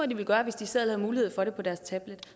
de ville gøre hvis de selv havde mulighed for det på deres tablet